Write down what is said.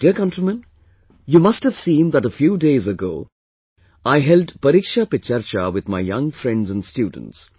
My dear countrymen, you must have seen that a few days ago I held 'Pariksha Pe Charcha' with my young friends and students